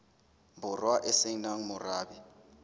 borwa e se nang morabe